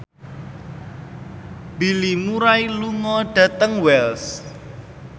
Bill Murray lunga dhateng Wells